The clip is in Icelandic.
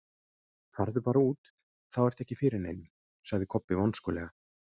Farðu bara út, þá ertu ekki fyrir neinum, sagði Kobbi vonskulega.